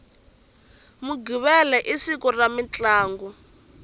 mughivela i siku ra mintlangu